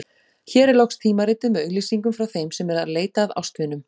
Hér er loks tímaritið með auglýsingum frá þeim sem eru að leita að ástvinum.